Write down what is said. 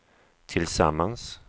tillsammans